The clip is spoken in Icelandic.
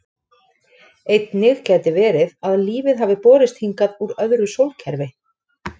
Einnig gæti verið að lífið hafi borist hingað úr öðru sólkerfi.